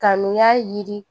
Kanuya yiri